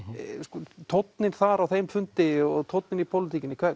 sko tónninn þar á þeim fundi og tónninn í pólitíkinni